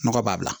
Nɔgɔ b'a la